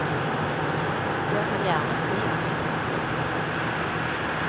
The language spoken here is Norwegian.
Dere kan gjerne si at vi byttet. punktum